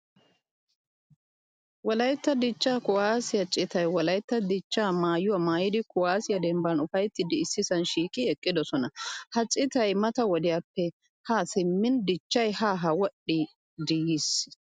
Wolaytta dichcha kuwasiyaa city wolaytta dichcha maayuwaa maayidi kuwasiya demban ufayttidi issisan shiiqi eqqidosona. Ha citay mata wodiyappe ha simmin dichchay ha ha wodhidi yiis.